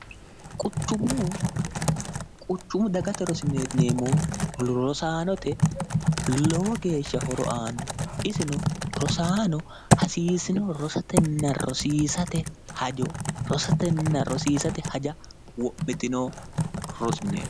quchummu dagate rrosaanote lowo geeshsha horo aanno isino rosaano hasiisino rosetenna rosiisate haja w'mittino rosimineeo